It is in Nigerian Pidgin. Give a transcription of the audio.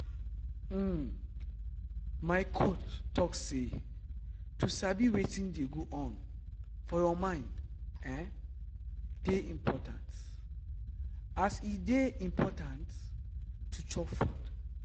uhm my coach talk say to sabi wetin dey go on for your mind[um]dey important as e dey important to chop food.